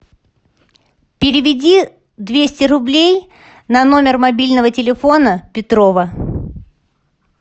переведи двести рублей на номер мобильного телефона петрова